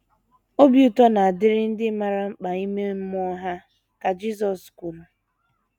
“ Obi ụtọ na - adịrị ndị maara mkpa ime mmụọ ha, ” ka Jisọs kwuru.